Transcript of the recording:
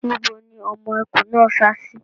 Níbo ni ọmọ ẹkùn náà sá sí?